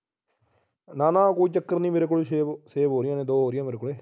ਨਾ ਨਾ ਕੋਈ ਚੱਕਰ ਨਹੀਂ ਮੇਰੇ ਕੋਲ save ਹੋ ਰਹੀਆਂ ਨੇ ਦੋ ਹੋ ਰਹੀਆਂ ਮੇਰੇ ਕੋਲੇ